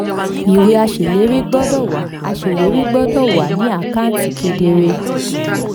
ìwé aṣèlérí gbọ́dọ̀ wà aṣèlérí gbọ́dọ̀ wà ní àkáǹtì kedere.